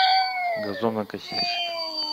газонокосильщик